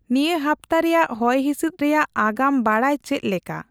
ᱱᱤᱭᱟᱹ ᱦᱟᱯᱛᱟ ᱨᱮᱭᱟᱜ ᱦᱚᱭᱦᱤᱥᱤᱥᱫ ᱨᱮᱭᱟᱜ ᱟᱜᱟᱢ ᱵᱟᱰᱟᱭᱪᱮᱫ ᱞᱮᱠᱟ